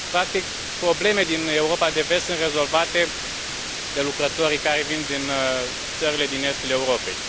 practic, probleme din Europa de Vest sunt rezolvate de lucrătorii care vin din țările din estul Europei.